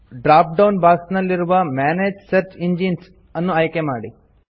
drop down box ನಲ್ಲಿರುವ ಮನಗೆ search engines ಅನ್ನು ಆಯ್ಕೆ ಮಾಡಿ